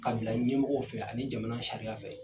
K'a bila ɲɛmɔgɔw fɛ ani jamana sariya fɛ.